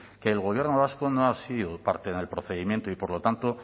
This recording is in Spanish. que el gobierno vasco no ha sido parte en el procedimiento y por lo tanto